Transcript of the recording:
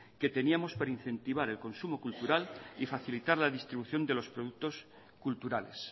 que teníamos para incentivar el consumo cultural y facilitar la distribución de los productos culturales